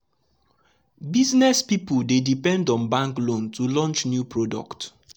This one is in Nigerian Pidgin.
business people dey depend on bank loan to launch new product.